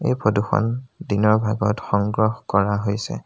এই ফটো খন দিনৰ ভাগত সংগ্ৰহ কৰা হৈছে।